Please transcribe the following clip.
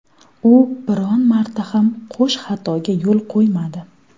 U biron marta ham qo‘sh xatoga yo‘l qo‘ymadi.